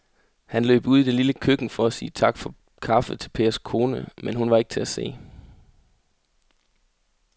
Han løb ud i det lille køkken for at sige tak for kaffe til Pers kone, men hun var ikke til at se.